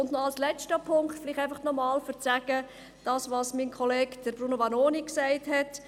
Noch als letzter Punkt, um noch einmal zu betonen, was mein Kollege, Bruno Vanoni gesagt hat: